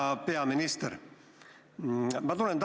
Hea peaminister!